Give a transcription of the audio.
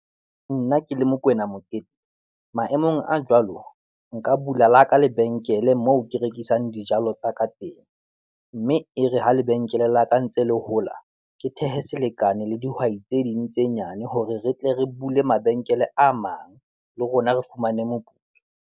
Nna ke le Mokwena Mokete, maemong a jwalo, nka bula la ka lebenkele moo ke rekisang dijalo tsa ka teng, mme e re ha lebenkele la ka ntse le hola, ke thehe selekane le dihwai tse ding tse nyane hore re tle re bule mabenkele a mang, le rona re fumane moputso.